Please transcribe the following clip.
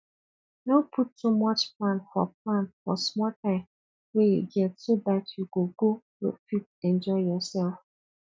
no put too much plan for plan for small time wey you get so dat you go go fit enjoy yourself